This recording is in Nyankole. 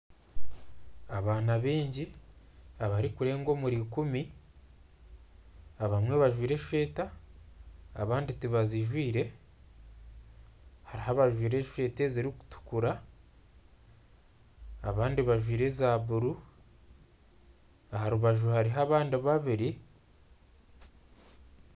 Abaana baingi abarikureenga omuri rukumi abamwe bajwaire esweeta abandi tibazijwaire hariho abajwaire esweeta ekirikutukura abandi bajwaire eza bururu aha rubaju hariho abandi babiri